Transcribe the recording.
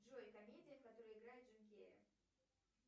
джой комедия в которой играет джим керри